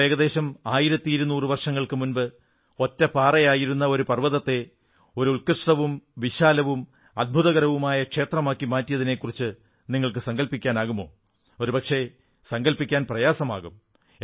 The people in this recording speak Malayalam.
എന്നാൽ ഏകദേശം 1200 വർഷങ്ങൾക്കു മുമ്പ് ഒറ്റ പാറയായിരുന്ന ഒരു പർവ്വതത്തെ ഒരു ഉത്കൃഷ്ടവും വിശാലവും അദ്ഭുതകരവുമായ ക്ഷേത്രമാക്കിയതിനെക്കുറിച്ച് നിങ്ങൾക്കു സങ്കല്പിക്കാനാകുമോ ഒരുപക്ഷേ സങ്കല്പിക്കാൻ പ്രയാസമാകും